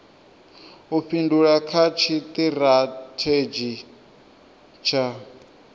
u fhindula kha tshitirathedzhi tsha